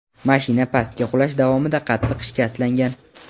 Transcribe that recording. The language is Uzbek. Mashina pastga qulash davomida qattiq shikastlangan.